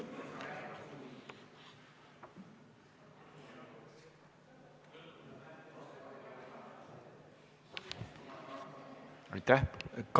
Aitäh!